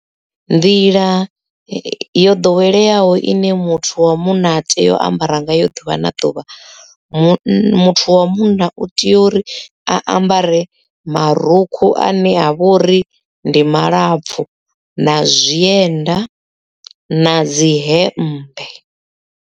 Nḓila yo ḓoweleaho ine muthu wa munna a tea u ambara nga yo ḓuvha na ḓuvha muthu wa munna u tea uri a ambare marukhu a ne a vhori ndi malapfu na zwienda na dzi hembe.